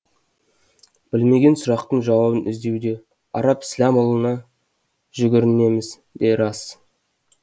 білмеген сұрақтың жауабын іздеуде арап сләмұлына жүгінеріміз де рас